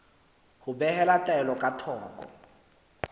ho behela taelo ka thoko